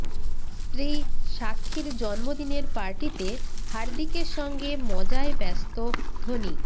স্ত্রী সাক্ষীর জন্মদিনের পার্টিতে হার্দিকের সঙ্গে মজায় ব্যস্ত ধোনি